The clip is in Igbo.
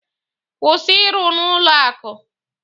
Kwụsị ịrụ n'ụlọ akụ!